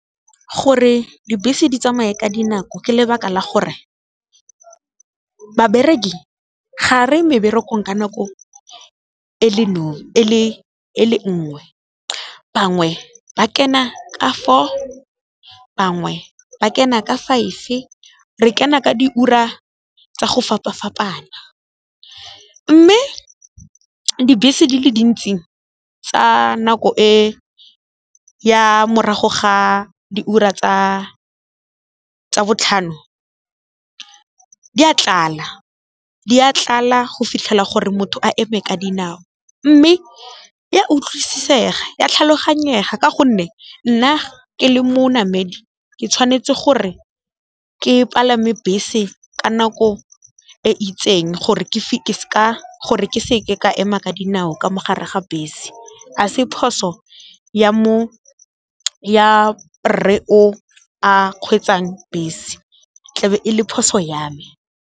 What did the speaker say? Gore dibese di tsamaye ka dinako ka lebaka la gore, babereki ga reye meberekong ka nako e le nngwe, bangwe ba kena ka four, bangwe ba kena ka five re kena ka diura tsa go fapa-fapana. Mme dibese di le dintsi tsa nako e ya morago ga diura tsa botlhano di a tlala go fitlhela gore motho a eme ka dinao mme e a utlwisisega, ya tlhaloganyega ka gonne nna ke le monamedi ke tshwanetse gore ke palame bese ka nako e itseng gore ke gore ke se ke ka ema ka dinao ka mogare ga bese, a se phoso ya rre o a kgweetsang bese tla be e le phoso ya me.